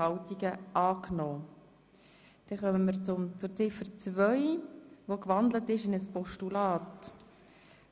Wir stimmen über Ziffer 2 ab, die in ein Postulat